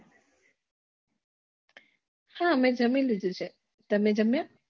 હા અમે જમી લીધું છે તમે જમ્યા